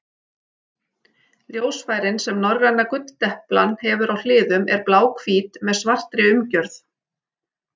Ljósfærin sem norræna gulldeplan hefur á hliðum eru bláhvít með svartri umgjörð.